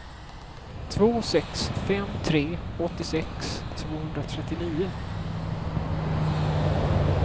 två sex fem tre åttiosex tvåhundratrettionio